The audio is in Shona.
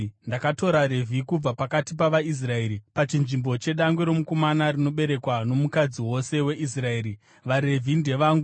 “Ndakatora vaRevhi kubva pakati pavaIsraeri pachinzvimbo chedangwe romukomana rinoberekwa nomukadzi wose weIsraeri. VaRevhi ndevangu,